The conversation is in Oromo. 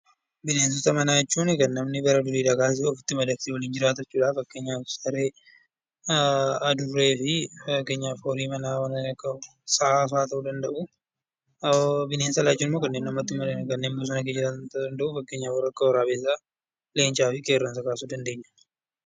Bineensota manaa jechuun kan namni bara durii kaasee ofitti madaqsee waliin jiraatudha fakkeenyaaf saree , adurree fi horiiwwan sa'a fa'aa ta'uu danda'u. Bineensota alaa jechuun immoo namatti osoo hin madaqiin kan jiraatan kan akka waraabessaa, leencaa fi qeerransa kaasuu dandeenya.